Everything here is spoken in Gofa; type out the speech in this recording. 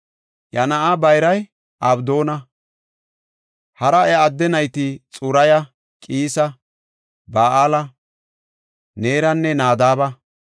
Iya na7aa bayray Abdoona; hara iya adde nayti Xuraya, Qiisa, Ba7aala, Neeranne Nadaaba,